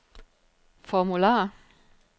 formular